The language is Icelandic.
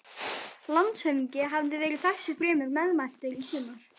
Landshöfðingi hafði verið þessu fremur meðmæltur í sumar.